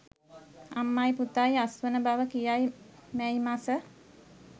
අම්මයි පුතයි අස්වන බව කියයි මැයි මස